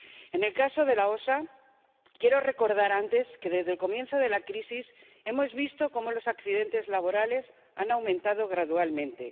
En el caso de EU OSHA, quiero recordar antes que, desde el comienzo de la crisis, hemos visto cómo los accidentes laborales han aumentado gradualmente.